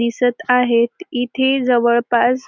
दिसत आहेत इथे जवळपास --